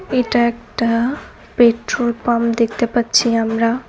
এটা একটা petrol pump দেখতে পারছি আমরা।